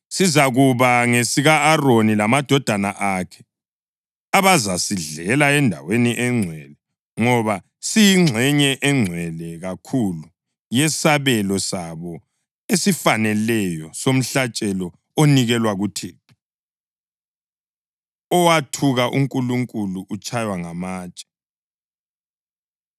Sizakuba ngesika-Aroni lamadodana akhe, abazasidlela endaweni engcwele ngoba siyingxenye engcwele kakhulu yesabelo sabo esifaneleyo somhlatshelo onikelwa kuThixo.” Owathuka UNkulunkulu Utshaywa Ngamatshe